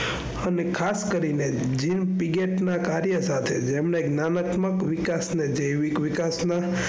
અને ખાસ કરીને પીએચ ના કાર્ય સાથે જેમને એક નાનકમાં વિકાસ ને જૈવિક વિકાસ ના,